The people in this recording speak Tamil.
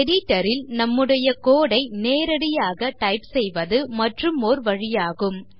editor ல் நம்முடைய code ஐ நேரடியாக டைப் செய்வது மற்றுமோர் வழியாகும்